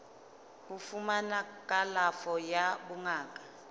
ho fumana kalafo ya bongaka